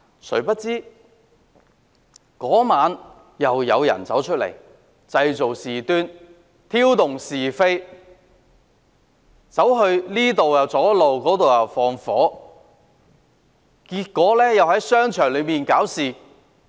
誰料當晚又有人出來製造事端，挑動是非，這邊廂堵路，那邊廂縱火，又在商場內搞事。